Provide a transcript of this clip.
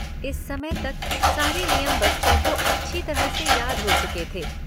इस समय तक सारे नियम बच्चों को अच्छी तरह से याद हो चुके थे।